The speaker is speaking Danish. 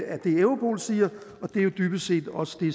er det europol siger og det er jo dybest set også det